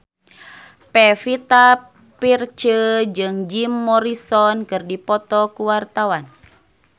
Pevita Pearce jeung Jim Morrison keur dipoto ku wartawan